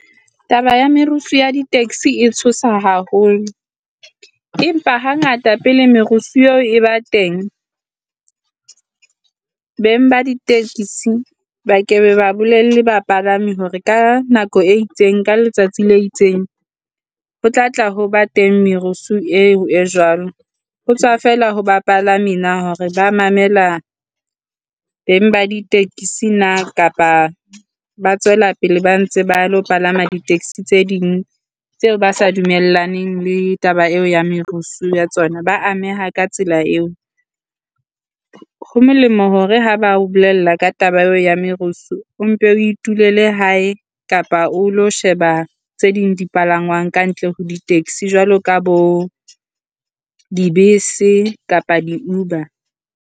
Taba ya merusu ya di taxi e tshosa haholo, empa hangata pele merusu eo e ba teng beng ba di tekisi ba ke be ba bolelle bapalami hore ka nako e itseng ka letsatsi le itseng ho tla tla ho ba teng merusu eo e jwalo. Ho tswa feela ho bapalami na hore ba mamela beng ba di tekisi na kapa ba tswela pele ba ntse ba lo palama di taxi tse ding tseo ba sa dumellaneng le taba eo ya merusu ya tsona. Ba ameha ka tsela eo. Ho molemo hore ha ba o bolella ka taba eo ya merusu o mpe o itulele hae, kapa o lo sheba tse ding di palangwang ka ntle ho di taxi jwalo ka bo dibese kapa di Uber.